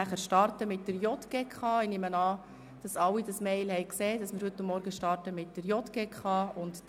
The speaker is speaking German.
Ich nehme an, Sie alle haben die E-Mail erhalten, in welcher geschrieben steht, dass wir heute mit den Themen der JGK beginnen.